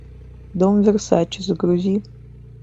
дом версаче загрузи